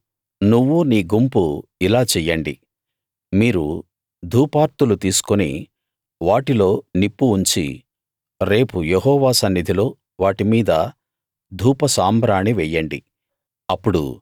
కోరహు నువ్వూ నీ గుంపూ ఇలా చెయ్యండి మీరు ధూపార్తులు తీసుకుని వాటిలో నిప్పు ఉంచి రేపు యెహోవా సన్నిధిలో వాటి మీద ధూపసాంబ్రాణి వెయ్యండి